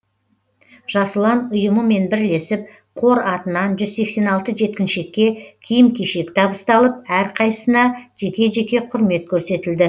жас ұлан ұйымымен бірлесіп қор атынан жүз сексен алты жеткіншекке киім кешек табысталып әрқайсысына жеке жеке құрмет көрсетілді